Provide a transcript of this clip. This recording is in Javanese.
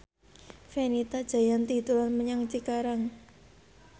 Fenita Jayanti dolan menyang Cikarang